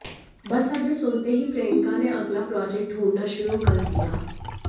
बस अब ये सुनते ही प्रियंका ने अगला प्रोजेक्ट ढूंढना शुरू कर दिया